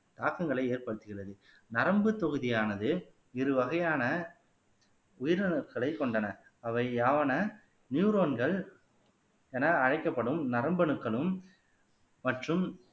தாக்கங்களை ஏற்படுத்துகிறது நரம்புத் தொகுதியானது இரு வகையான உயிரணுக்களைக் கொண்டன அவை யாவன நியூரோன்கள் என அழைக்கப்படும் நரம்பு அணுக்களும் மற்றும்